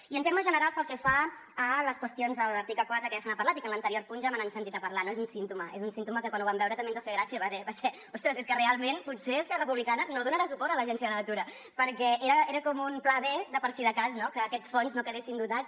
i en termes generals pel que fa a les qüestions de l’article quatre que ja se n’ha parlat i que en l’anterior punt ja me n’han sentit a parlar no és un símptoma és un símptoma que quan ho vam veure també ens va fer gràcia va ser ostres és que realment potser esquerra republicana no donarà suport a l’agencia de la natura perquè era com un pla b de per si de cas no que aquests fons no quedessin dotats